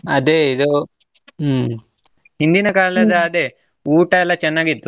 ಅದೇ ಇದು, ಹ್ಮ್ ಹಿಂದಿನ ಕಾಲದ ಅದೇ ಊಟ ಎಲ್ಲಾ ಚೆನ್ನಾಗಿತ್ತು.